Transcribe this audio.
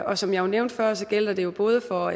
og som jeg nævnte før gælder det jo både for